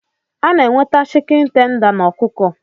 enweta Shịkịni tenda